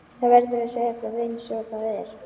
Það verður að segja það einsog það er.